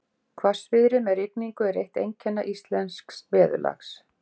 Hvassviðri með rigningu er eitt einkenna íslensks veðurlags.